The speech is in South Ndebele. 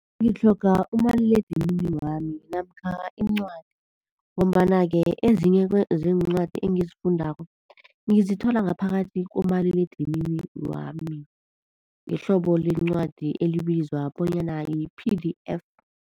Ngitlhoga umaliledinini wami namkha incwadi. Ngombana-ke ezinyeke zeencwadi engizifundako ngizithola ngaphakathi komaliledinini wami, ngehlobo leencwadi elibizwa bonyana yi-P_D_F.